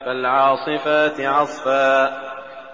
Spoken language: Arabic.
فَالْعَاصِفَاتِ عَصْفًا